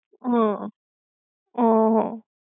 હમ હ હ